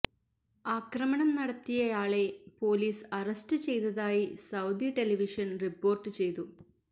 ആക്രമണം നടത്തിയയാളെ police arrest ചെയ്തതായി സൌദി ടെലിവിഷൻ റിപ്പോര്ട്ട് ചെയ്തു